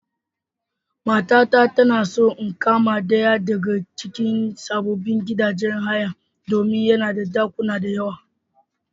Matata tana so in kama ɗaya daga cikin sababbin gidajen haya domin yana da ɗakuna da yawa.